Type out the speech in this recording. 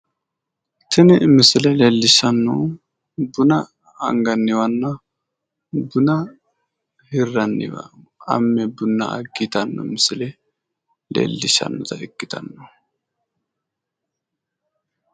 tini misile leellishshannohu buna anganniwanna buna hirranniwa amme buna agge yitanno misile leellishshannota ikkitanno